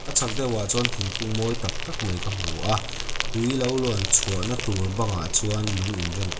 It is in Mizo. a chhak deuhah chuan thingkung mawi tak tak mai ka hmu a tui lo luan chhuahna tur bangah chuan lung in rem--